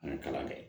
An ye kalan kɛ